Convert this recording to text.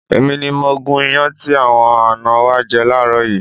Èmi ni mo gún iyán tí àwọn àná wa jẹ láàárọ̀ yìí.